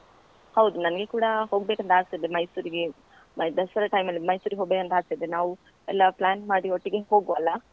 ಹೌದು ನನ್ಗೆ ಕೂಡ ಹೋಗ್ಬೇಕಂತ ಆಸೆ ಇದೆ ಮೈಸೂರಿಗೆ ದಸರಾ time ಮಲ್ಲಿ ಮೈಸೂರ್ ಹೊಬೇಕ್ ಅಂತ ಆಗ್ತದೆ ನಾವು ಎಲ್ಲ plan ಮಾಡಿ ಒಟ್ಟಿಗೆ ಹೋಗುವ ಅಲಾ?